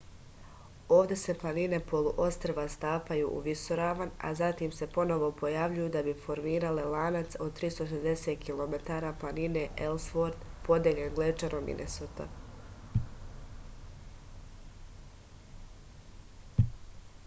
ovde se planine poluostrva stapaju u visoravan a zatim se ponovo pojavljuju da bi formirale lanac od 360 km planine elsvort podeljen glečerom minesota